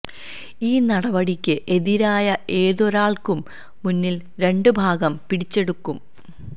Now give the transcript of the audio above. ഈ നടപടിക്ക് എതിരായ ഏതൊരാൾക്കും മൂന്നിൽ രണ്ട് ഭാഗം പിടിച്ചെടുക്കും